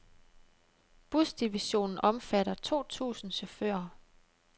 Busdivisionen omfatter to tusind chauffører.